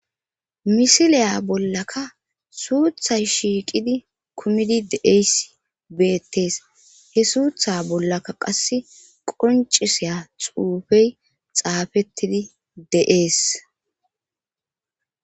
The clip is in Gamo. misiliya bollaka suuthay shiiqidi kumidi deeysi beettees he suutha bollaka qasse qoncisiya xuufey xaafettidi de7ees